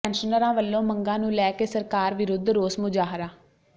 ਪੈਨਸ਼ਨਰਾਂ ਵੱਲੋਂ ਮੰਗਾਂ ਨੂੰ ਲੈ ਕੇ ਸਰਕਾਰ ਵਿਰੁੱਧ ਰੋਸ ਮੁਜ਼ਾਹਰਾ